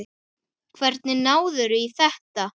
Hvernig náðirðu í þetta?